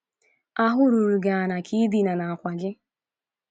Ahụ ruru gị ala ka i dina n’àkwà gị.